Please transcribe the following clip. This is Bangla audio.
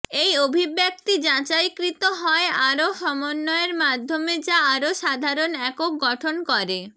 এই অভিব্যক্তি যাচাইকৃত হয় আরও সমন্বয়ের মাধ্যমে যা আরও সাধারণ একক গঠন করেঃ